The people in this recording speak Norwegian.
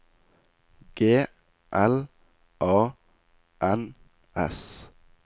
G L A N S